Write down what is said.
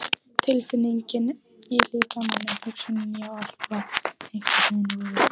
Tilfinningin í líkamanum, hugsunin, já, allt var einhvern veginn úfið.